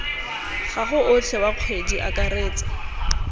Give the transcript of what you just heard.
gago otlhe wa kgwedi akaretsa